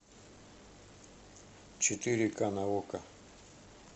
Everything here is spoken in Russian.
четыре ка на окко